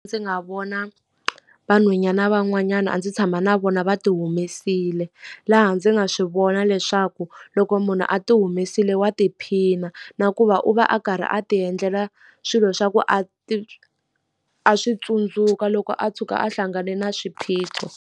Ndzi nga vona vanhwanyana van'wanyana a ndzi tshama na vona va ti humesile. Laha ndzi nga swi vona leswaku loko munhu a ti humesile wa tiphina, na ku va u va a karhi a ti endlela swilo swa ku a a swi tsundzuka loko a tshuka a hlangane na swiphiqo.